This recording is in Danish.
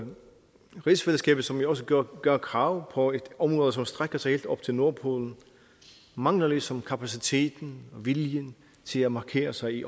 rigsfællesskabet som jo også gør gør krav på et område som strækker sig helt op til nordpolen mangler ligesom kapaciteten og viljen til at markere sig i